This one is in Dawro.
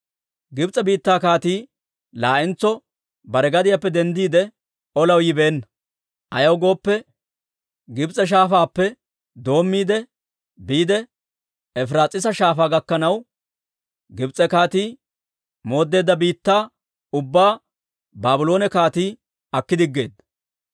Gibs'e biittaa kaatii laa'entso bare gadiyaappe denddiide, olaw yibeenna; ayaw gooppe, Gibs'e Shaafaappe doommiide, biide Efiraas'iisa Shaafaa gakkanaw, Gibs'e kaatii mooddeedda biittaa ubbaa Baabloone kaatii aki diggeedda.